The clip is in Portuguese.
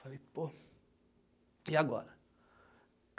Falei, pô, e agora?